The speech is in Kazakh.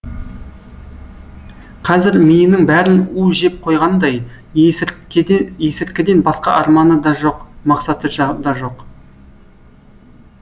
қазір миының бәрін у жеп қойғандай есірткіден басқа арманы да жоқ мақсаты да жоқ